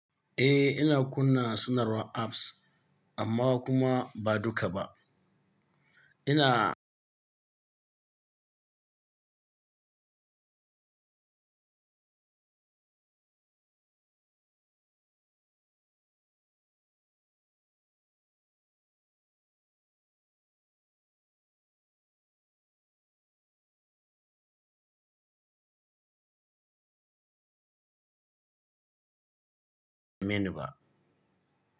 Eh ina kunna sanarwar apps amma kuma ba duka ba. Ina Menuba.